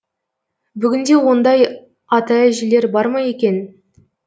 бүгінде ондай ата әжелер бар ма екен